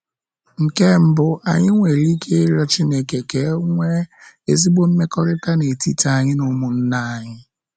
Nke mbụ, anyị nwere ike ịrịọ Chineke ka e nwee ezigbo mmekọrịta n'etiti anyị na ụmụnna anyị.